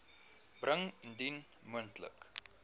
bring indien moontlik